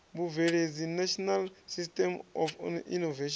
vhubveledzi national system of innovation